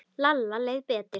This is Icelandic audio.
Lalla leið betur.